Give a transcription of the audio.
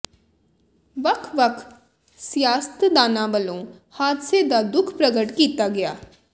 ਵੱਖ ਵੱਖ ਸਿਆਸਤਦਾਨਾਂ ਵੱਲੋਂ ਹਾਦਸੇ ਦਾ ਦੁੱਖ ਪ੍ਰਗਟ ਕੀਤਾ ਗਿਆ